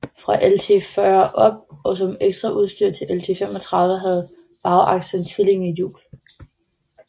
Fra LT 40 og op og som ekstraudstyr til LT 35 havde bagakslen tvillingehjul